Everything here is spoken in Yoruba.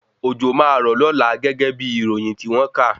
Òjò máa rọ̀ lọ́la gẹ́gẹ́ bí ìròyìn tí wọ́n kà